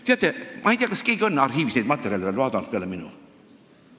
Teate, ma ei tea, kas keegi peale minu on arhiivis neid materjale uurinud.